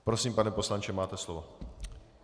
Prosím, pane poslanče, máte slovo.